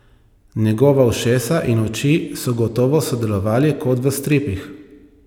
Njegova ušesa in oči so gotovo sodelovali, kot v stripih.